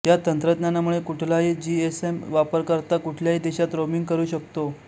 या तंत्रज्ञानामुळे कुठलाही जीएसएम वापरकर्ता कुठल्याही देशात रोमिंग करू शकतो